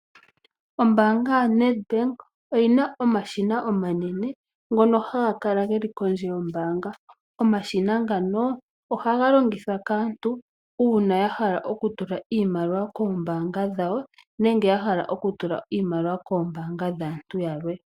Ombaanga yoNEDBANK oyina omashina omanene ngono haga kala geli kondje yombaamba. Omashina ngano oha ga longithwa kaantu uuna ya hala oku tula iimaliwa koombanga dha wo nenge ya hala oku tula iimaliwa koombaanga dhaantu ya lwe.